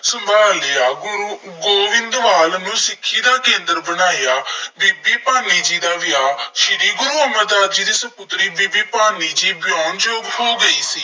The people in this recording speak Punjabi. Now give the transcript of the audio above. ਸੰਭਾਲ ਲਿਆ। ਗੁਰੂ ਗੋਇੰਦਵਾਲ ਨੂੰ ਸਿੱਖੀ ਦਾ ਕੇਂਦਰ ਬਣਾਇਆ। ਬੀਬੀ ਭਾਨੀ ਜੀ ਦਾ ਵਿਆਹ, ਸ੍ਰੀ ਗੁਰੂ ਅਮਰਦਾਸ ਜੀ ਦੀ ਸਪੁੱਤਰੀ ਬੀਬੀ ਭਾਨੀ ਜੀ ਵਿਆਹੁਣ ਯੋਗ ਹੋ ਗਈ ਸੀ।